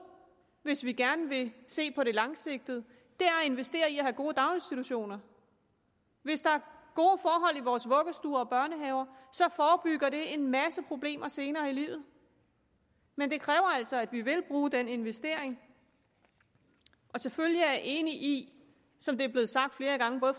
hvis vi gerne vil se på det langsigtet at investere i at have gode daginstitutioner hvis der er gode forhold i vores vuggestuer og børnehaver forebygger det en masse problemer senere i livet men det kræver altså at vi vil bruge den investering og selvfølgelig er jeg enig i som det er blevet sagt flere gange af